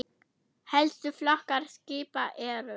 Helstu flokkar skipa eru